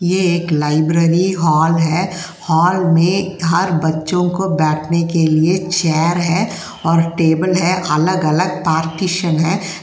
ये एक library hall है। हॉल मे हर बच्चों को बैठने के लिए चेयर है और टेबल है अलग-अलग पार्टीशन है।